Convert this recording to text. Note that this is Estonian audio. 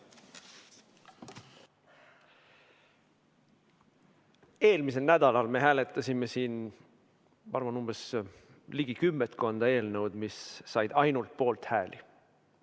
Eelmisel nädalal me hääletasime siin, ma pakun, umbes ligi kümmekonda eelnõu, mis said ainult poolthääli.